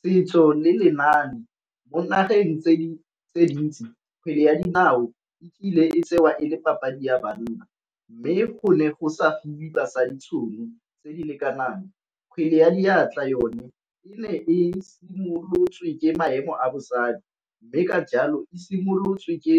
Setso le lenaane mo nageng tse di tse dintsi kgwele ya dinao e kile e tsewa e le papadi ya banna, mme gone go sa fiwe basadi tšhono tse di lekanakng. Kgwele ya diatla yone e ne e simolotswe ke maemo a bosadi, mme ka jalo e simolotse e